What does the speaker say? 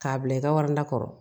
K'a bila i ka wari na kɔrɔ